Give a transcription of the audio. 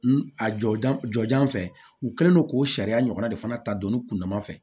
N a jɔjan fɛ u kɛlen don k'o sariya ɲɔgɔnna de fana ta don ne kun dama fɛ